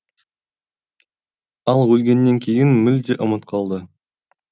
ал өлгеннен кейін мүлде ұмыт қалды